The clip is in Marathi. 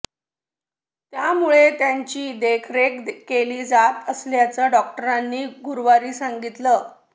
त्यामुळे त्यांची देखरेख केली जात असल्याचं डॉक्टरांनी गुरुवारी सांगितलं